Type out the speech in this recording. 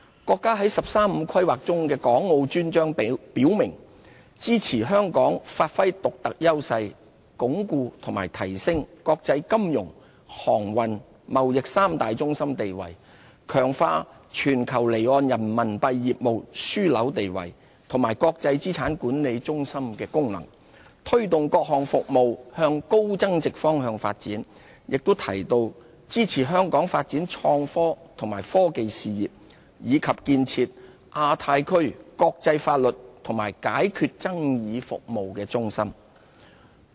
國家在"十三五"規劃中的港澳專章表明，支持香港發揮獨特優勢，鞏固及提升國際金融、航運、貿易三大中心地位，強化全球離岸人民幣業務樞紐地位和國際資產管理中心功能，推動各項服務向高增值方向發展，亦提到支持香港發展創新及科技事業，以及建設亞太區國際法律及解決爭議服務中心。